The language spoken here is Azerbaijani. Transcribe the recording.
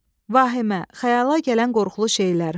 Vahimə, xəyala gələn qorxulu şeylər.